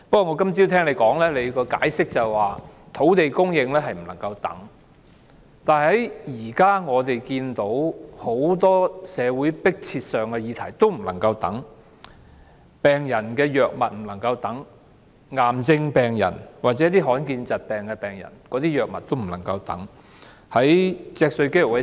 我今早聽到你解釋，土地供應不能等待，但現時很多社會迫切議題同樣不能再等待——病人的藥物不能等待，癌症病人或罕見疾病病人的藥物也不能等待。